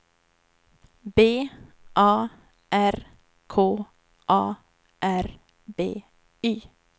B A R K A R B Y